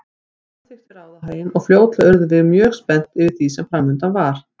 Ég samþykkti ráðahaginn og fljótlega urðum við mjög spennt yfir því sem framundan var.